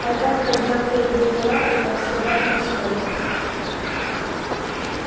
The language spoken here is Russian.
потом поднял переднюю лапу как собака на стойке